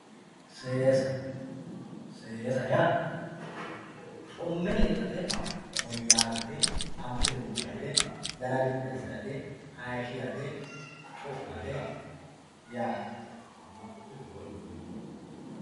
seesa seesa yaa xumme lexxate ,woyyaawate, anfire buudhate, dana biddi assirate, hayiishirate, xu'mate yaate.